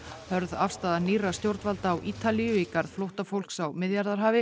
hörð afstaða nýrra stjórnvalda á Ítalíu í garð flóttafólks á Miðjarðarhafi